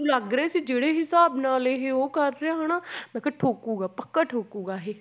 ਲੱਗ ਰਿਹਾ ਸੀ ਜਿਹੜੇ ਹਿਸਾਬ ਨਾਲ ਇਹ ਉਹ ਕਰ ਰਿਹਾ ਹਨਾ ਮੈਂ ਕਿਹਾ ਠੋਕੂਗਾ ਪੱਕਾ ਠੋਕੂਗਾ ਇਹ,